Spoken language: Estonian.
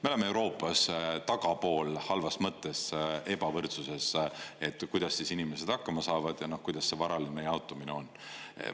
Me oleme Euroopas tagapool halvas mõttes ebavõrdsuses, et kuidas inimesed hakkama saavad ja kuidas see varaline jaotumine on.